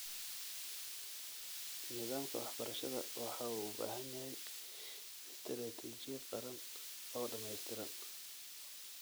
Nidaamka waxbarashada waxa uu u baahan yahay istiraatijiyad qaran oo dhamaystiran.